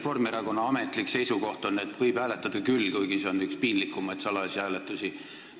Reformierakonna ametlik seisukoht on, et võib hääletada küll, kuigi see on üks piinlikumaid salajasi hääletusi.